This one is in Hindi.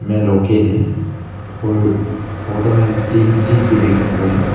ये लॉकर है और फोटो में हम तीन सीट भी देख सकते हैं।